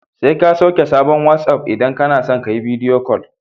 Sai ka sauke sabon wasi'of idan kana so ka yi bidiyo kol.